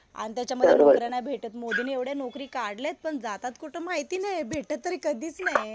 आणि त्याच्यामध्ये नोकऱ्या नाही भेटत. मोदीनी एवढ्या नोकरी काढल्यात पण जातात कुठं माहिती नाही. भेटत तरी कधीच नाही.